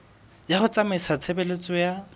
ya ho tsamaisa tshebeletso ya